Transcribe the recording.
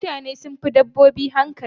Mutane sun fi dabbobi hankali.